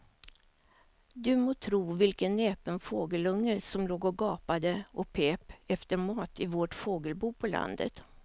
Du må tro vilken näpen fågelunge som låg och gapade och pep efter mat i vårt fågelbo på landet.